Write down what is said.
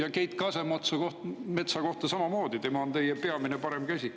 Ja Keit Kasemetsa kohta samamoodi, tema on teie parem käsi.